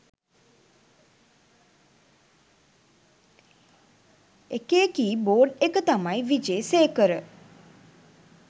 ඒකෙ keyboard එක තමයි විජේසේකර